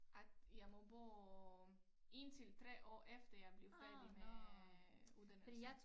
At jeg må bo indtil 3 år efter jeg bliver færdig med uddannelse